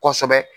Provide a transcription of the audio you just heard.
Kosɛbɛ